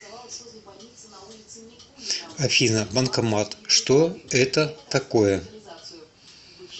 афина банкомат что это такое